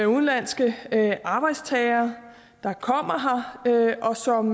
udenlandske arbejdstagere der kommer her og som